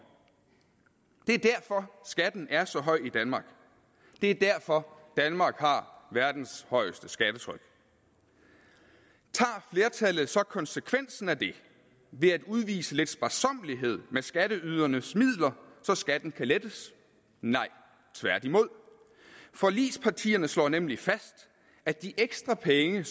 det er derfor skatten er så høj i danmark det er derfor danmark har verdens højeste skattetryk tager flertallet så konsekvensen af det ved at udvise lidt sparsommelighed med skatteydernes midler så skatten kan lettes nej tværtimod forligspartierne slår nemlig fast at de ekstra penge